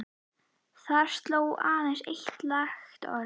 Þar stóð aðeins eitt langt orð